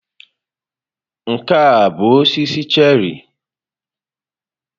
Nke a ọ bụ osisi cherị?